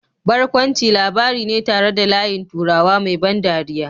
Barkwanci labari ne tare da layin turawa mai ban dariya